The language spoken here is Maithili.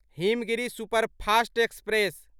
Himgiri superfast express